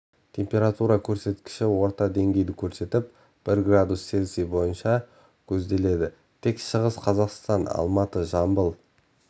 температура көрсеткіші орташа деңгейді көрсетіп бір градус цельсий бойынша көзделеді тек шығыс қазақстан алматы жамбыл